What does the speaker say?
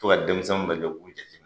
Fo ka denmisɛnw k'u jateminɛ